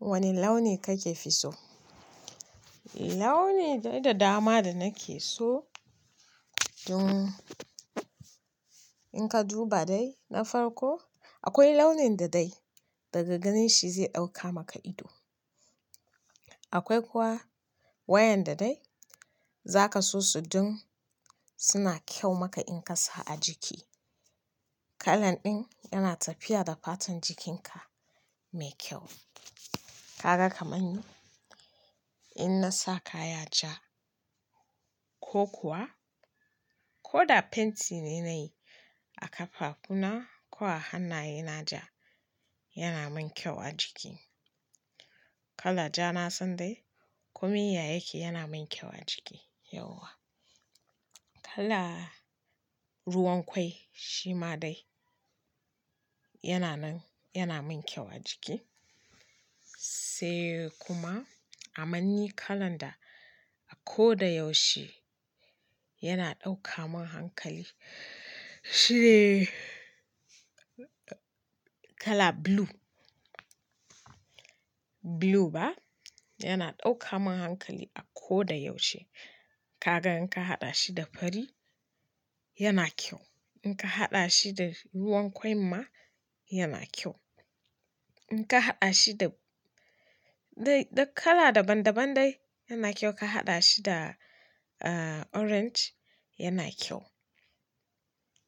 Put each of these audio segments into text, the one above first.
Wane launi kake fi so? Launi dai da dama da nake so. Dun, in ka duba dai na farko akwai launin da dai daga ganin shi zai ɗauka maka ido. Akwai kuma wayan da dai za ka so su don suna kyau maka in ka sa a jiki. Kalan ɗin yana tafiya da fatan jikinka mai kyau. Kaga kamar ni in na sa kaya ja ko kuwa ko da fenti ne na yi a kafafuna ko a hannaye na ja, yana min kyau a jiki. Kala ja na sandai komai ya yake yana min kyau a jiki. Yauwa. Kala ruwan kwai shi ma dai yana nan, yana min kyau a jiki. Sai kuma a manni kalan da a ko da yaushe yana ɗauka mun hankali shine kala blue. Blue ba, yana ɗauka mun hankali a ko da yaushe. Kaga in ka haɗa shi da fari yana kyau. In ka haɗa shi da ruwan kwai ma yana kyau. In ka haɗa shi da, dai da kala daban daban dai yana kyau. Ka haɗa shi da, eh, orange yana kyau.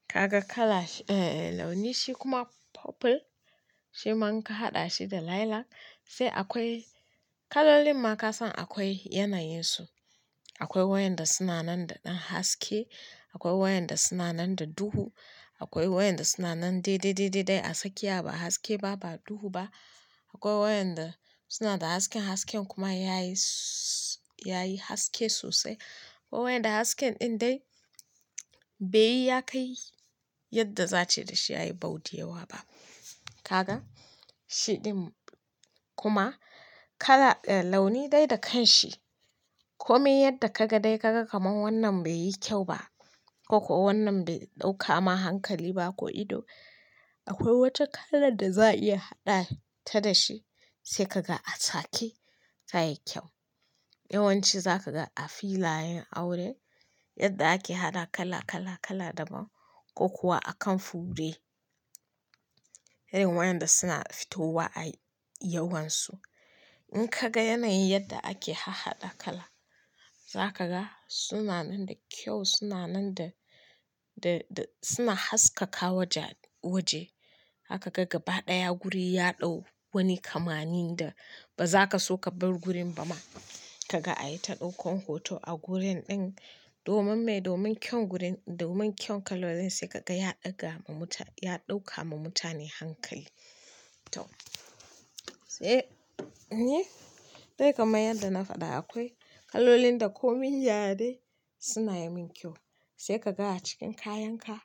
Kaga kala, eh, launin shi kuma purple, sai ma inka haɗa shi da lilac. Sai akwai kalolin ma ka san akwai yanayin su. Akwai wayanda suna nan da ɗan haske, akwai wayanda suna nan da duhu, akwai wayanda suna nan dai, dai, dai, dai a tsakiya ba haske ba, ba duhu ba. Akwai wayanda suna da haske, hasken kuma yayi, yayi haske sosai. Akwai wayanda hasken ɗin dai bai yi ya kai yadda za a ce dashi yayi bau ɗin da yawa ba. Kaga, shi ɗin kuma kala, launi dai da kanshi. Komai yadda ka ga dai kaga kaman wannan bai yi kyau ba ko kuwa wannan bai ɗaukama hankali ba ko ido, akwai wata kala da za a iya haɗa ta dashi sai ka ga a saƙe tayi kyau. Yawanci za ka ga a filayen aure yadda ake haɗa kala, kala, kala daban ko kuwa a kan fure. Irin wayanda suna fitowa a yawansu. In ka ga yanayin yadda ake ha haɗa kala, za ka ga suna nan da kyau, suna nan da, da, da suna haskaka wajaj- waje. Zakaga gaba ɗaya wuri ya ɗau wani kamanni da ba za ka so ka bar gurin ba ma. Kaga a yi ta ɗauko hoto a wurin ɗin domin me? Domin kyan gurin-- domin kyan kalolin sai ka ga ya ɗaga ma muta-- ya ɗaukama mutane hankali. To. Sai, ni? Dai kamar yadda na faɗa akwai kalolin da komai ya dai suna yi min kyau. Sai ka ga a cikin kayan ka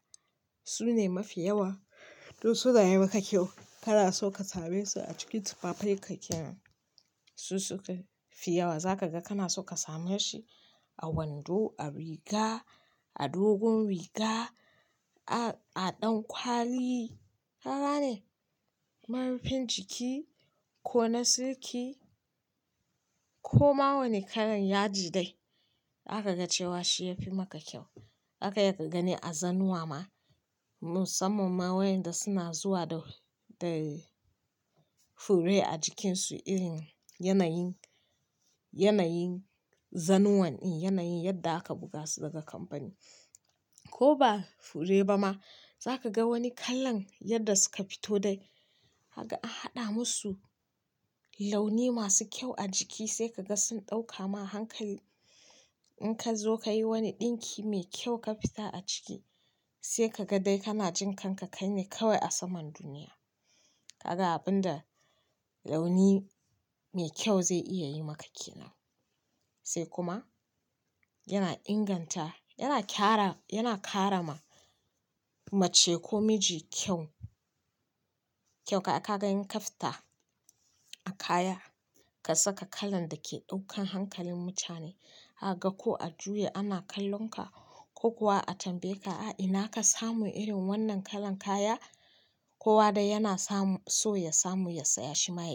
su ne mafi yawa. To suna yi maka kyau kana soka same su a cikin tufafai ka kenan su suka fi yawa. Za ka ga kana so ka same shi a wando, a riga, a dogon riga, a, a ɗan kwali. Kaga ne? Marufin jiki ko na siliki ko ma wane kalan ya di dai zaka ga cewa shi ya fi maka kyau. Zaka iya ka gani a zanuwa ma. Musamman ma waƴanda suna zuwa da, da fure a jikinsu irin yanayin, yanayin zanuwan, in yanayin yadda aka buga su daga kamfani. Ko ba fure ba ma za ka ga wani kalan yadda suka fito dai haka an haɗa masu launi masu kyau a jiki sai ka ga sun ɗaukama hankali. In ka zo ka yi wani ɗinki mai kyau ka fita a ciki sai ka ga dai kana jin kanka kai ne kawai a saman duniya. Kaga abin da launi mai kyau zai iya yi maka ke nan. Sai kuma yana inganta, yana ƙara, yana ƙara ma mace ko miji kyau. Kyau ka, aka ga in ka fita a kaya ka saka kalan da ke ɗaukan hankalin mutane. Zakaga ko a juya ana kallon ka ko kuwa a tambaye ka, "A ina ka samu irin wannan kalan kaya?" Kowa dai yana samu so ya samu ya saya shi ma yake.